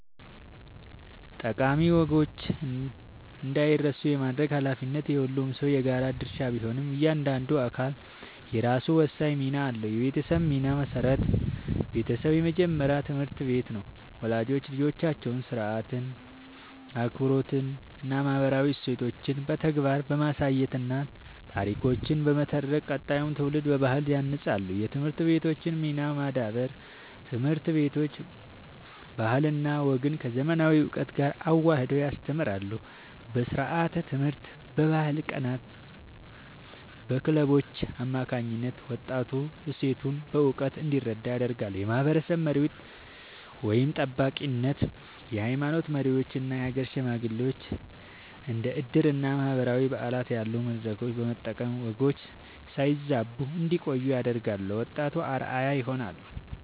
ጠቃሚ ወጎች እንዳይረሱ የማድረግ ኃላፊነት የሁሉም ሰው የጋራ ድርሻ ቢሆንም፣ እያንዳንዱ አካል የራሱ ወሳኝ ሚና አለው፦ የቤተሰብ ሚና (መሠረት)፦ ቤተሰብ የመጀመሪያው ትምህርት ቤት ነው። ወላጆች ልጆቻቸውን ሥርዓት፣ አክብሮትና ማህበራዊ እሴቶችን በተግባር በማሳየትና ታሪኮችን በመተረክ ቀጣዩን ትውልድ በባህል ያንጻሉ። የትምህርት ቤቶች ሚና (ማዳበር)፦ ትምህርት ቤቶች ባህልና ወግን ከዘመናዊ እውቀት ጋር አዋህደው ያስተምራሉ። በስርዓተ-ትምህርት፣ በባህል ቀናትና በክለቦች አማካኝነት ወጣቱ እሴቶቹን በእውቀት እንዲረዳ ያደርጋሉ። የማህበረሰብ መሪዎች (ጠባቂነት)፦ የሃይማኖት መሪዎችና የሀገር ሽማግሌዎች እንደ ዕድርና ማህበራዊ በዓላት ያሉ መድረኮችን በመጠቀም ወጎች ሳይበረዙ እንዲቆዩ ያደርጋሉ፤ ለወጣቱም አርአያ ይሆናሉ።